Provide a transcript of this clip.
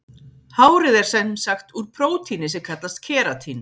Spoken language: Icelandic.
Hárið er sem sagt úr prótíni sem kallast keratín.